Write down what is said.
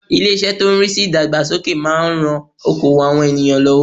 Ilé- isẹ́ tó n rí sí ìdàgbàsókè máa n ran okoòwò àwọn ènìyàn lọ́wọ́